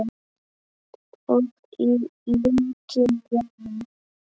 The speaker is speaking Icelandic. Og í lokin: Jæja.